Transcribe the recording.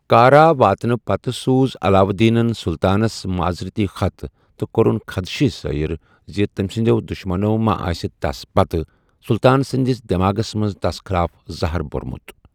کارا واتنہٕ پتہ سوُز علاؤالدینن سلطانس معزرتی خط، تہٕ كو٘رٗن خدشہِ ظٲہر زِ تمہِ سٕنٛدٮ۪و دٗشمنو ما آسہِ تس پتہٕ سلطان سٕنٛدِس دیماگس منٛز تس خٕلاف زٔہر بوٚرمُت۔